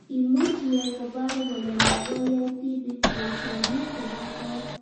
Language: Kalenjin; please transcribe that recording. Imuch iyai koparu kole makoyae tipik poishonik chepo kot